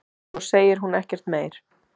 Svo segir hún ekkert meir.